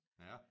Ja